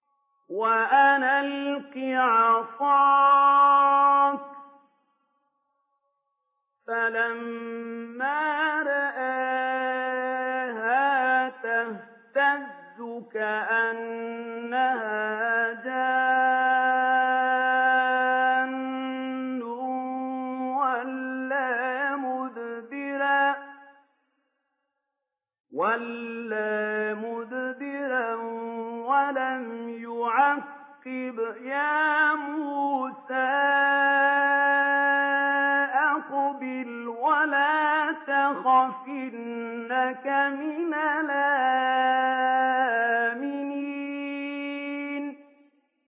وَأَنْ أَلْقِ عَصَاكَ ۖ فَلَمَّا رَآهَا تَهْتَزُّ كَأَنَّهَا جَانٌّ وَلَّىٰ مُدْبِرًا وَلَمْ يُعَقِّبْ ۚ يَا مُوسَىٰ أَقْبِلْ وَلَا تَخَفْ ۖ إِنَّكَ مِنَ الْآمِنِينَ